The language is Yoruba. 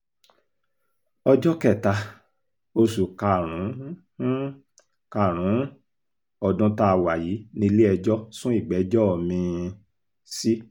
ọjọ́ kẹta oṣù karùn-ún karùn-ún ọdún tá a wà yìí ni ilé-ẹjọ́ sún ìgbẹ́jọ́ mi-ín sí